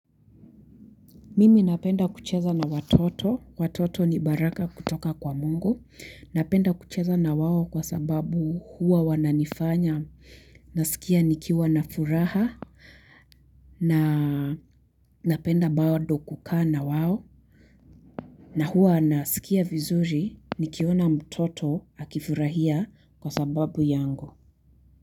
Mimi napenda kucheza na watoto, watoto ni baraka kutoka kwa Mungu, napenda kucheza na wao kwa sababu huwa wananifanya, nasikia nikiwa na furaha, na napenda bado kukaa na wao, na huwa nasikia vizuri, nikiona mtoto akifurahia kwa sababu yangu.